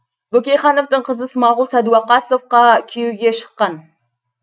бөкейхановтың қызы смағұл сәдуақасовқа күйеуге шыққан